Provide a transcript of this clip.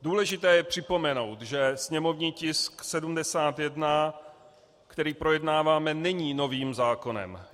Důležité je připomenout, že sněmovní tisk 71, který projednáváme, není novým zákonem.